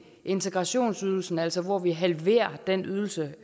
integrationsydelsen altså hvor vi halverer den ydelse